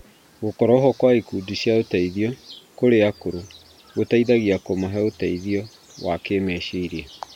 Gũkorũo ho kwa ikundi cia ũteithio kũrĩ akũrũ gũteithagia kũmahe ũteithio wa kĩmeciria.